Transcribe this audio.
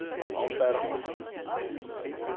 omfatter